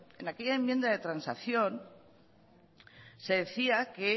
en aquella enmienda de transacción se decía que